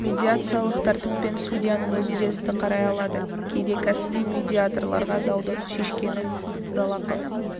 медиациялық тәртіппен судьяның өзі де істі қарай алады кейде кәсіби медиаторларға дауды шешкені үшін жалақы